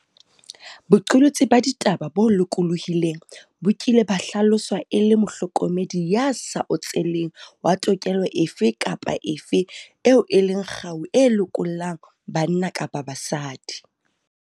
Boqolotsi ba ditaba bo lokolohileng bo kile ba hlaloswa e le 'mohlokomedi ya sa otseleng wa tokelo efe kapa efe eo e leng kgau e lokollang banna kapa basadi'.